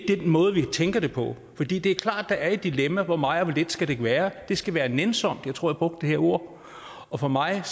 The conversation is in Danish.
den måde vi tænker det på for det det er klart at der er et dilemma i hvor meget og det skal være det skal være nænsomt jeg tror jeg brugte det ord og for mig